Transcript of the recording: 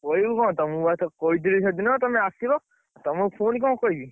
କହିବି କଣ ତମୁକୁ ବା, କହିଥିଲି ସେଦିନ ତମେ ଆସିବ। ତମୁକୁ ପୁଣି କଣ କହିବି।